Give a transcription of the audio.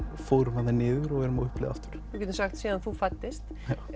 fórum þarna niður og erum á uppleið aftur við getum sagt síðan þú fæddist